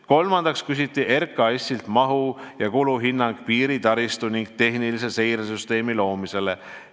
Kolmandaks küsiti RKAS-ilt mahu- ja kuluhinnang piiritaristu ning tehnilise seire süsteemi loomise kohta.